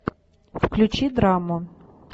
включи драму